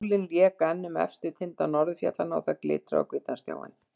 Sólin lék enn um efstu tinda norðurfjallanna og það glitraði á hvítan snjóinn.